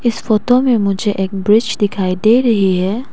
इस फोटो में मुझे एक ब्रिज दिखाई दे रही है।